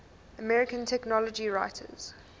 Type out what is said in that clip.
american technology writers